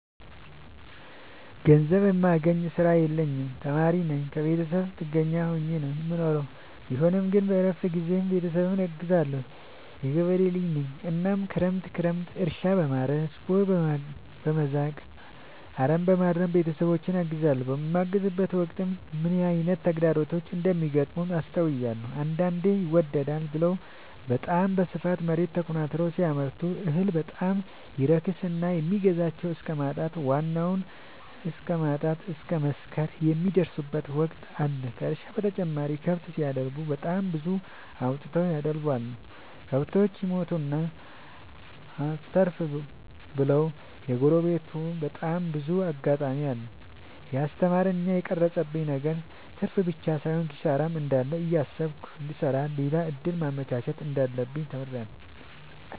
ገንዘብ የሚያስገኝ ስራ የለኝም ተማሪነኝ ከብተሰብ ጥገኛ ሆኜ ነው የምኖረው ቢሆንም ግን በረፍት ጊዜዬ ቤተሰብን አግዛለሁ። የገበሬ ልጅነኝ እናም ክረምት ክረምት እርሻ፣ በማረስ፣ ቦይ፣ በመዛቅ፣ አረምበማረም ቤተሰቦቼን አግዛለሁ። በማግዝበትም ወቅት ምን አይነት ተግዳሮቶች እንደሚገጥሙት አስተውያለሁ። አንዳንዴ ይመደዳል ብለው በታም በስፋት መሬት ተኮናትረው ሲያመርቱ እህል በጣም ይረክስና የሚገዛቸው እስከማጣት ዋናውን እስከማት እስከ መክሰር የሚደርሱበት ወቅት አለ ከእርሻ በተጨማሪ ከብት ሲደልቡ በጣም ብዙ አውጥተው ያደለቡቸው። ከብቶች ይሞቱና አተርፍ ብለው የሚያጎሉበቴ በጣም ብዙ አጋጣሚ አለ። የስተማረኝ እና የቀረፀብኝ ነገር ትርፍብቻ ሳይሆን ኪሳራም እንዳለ እያሰብኩ እንድሰራ ሌላ እድል ማመቻቸት እንዳለብኝ ተምሬበታለሁ።